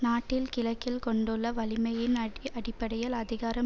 நாட்டின் கிழக்கில் கொண்டுள்ள வலிமையின் அட்அடிப்படையில் அதிகாரம்